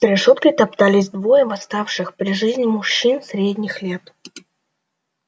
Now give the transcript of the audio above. решёткой топтались двое восставших при жизни мужчин средних лет